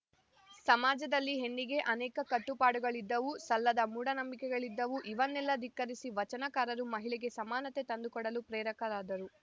ಸಮಾಜದಲ್ಲಿ ಹೆಣ್ಣಿಗೆ ಅನೇಕ ಕಟ್ಟುಪಾಡುಗಳಿದ್ದವು ಸಲ್ಲದ ಮೂಢನಂಬಿಕೆಗಳಿದ್ದವು ಇವನ್ನೆಲ್ಲ ಧಿಕ್ಕರಿಸಿ ವಚನಕಾರರು ಮಹಿಳೆಗೆ ಸಮಾನತೆ ತಂದುಕೊಡಲು ಪ್ರೇರಕರಾದರು